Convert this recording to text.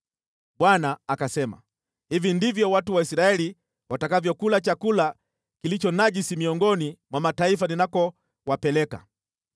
Bwana akasema, “Hivi ndivyo watu wa Israeli watakavyokula chakula kilicho najisi miongoni mwa mataifa ninakowapeleka.”